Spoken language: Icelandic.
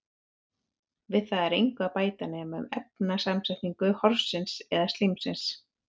við það er engu að bæta nema um efnasamsetningu horsins eða slímsins